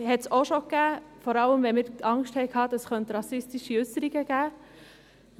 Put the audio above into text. Dies kam auch schon vor, vor allem wenn wir Angst hatten, es könne zu rassistischen Äusserungen kommen.